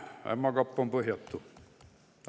Ämma kapp on põhjatu!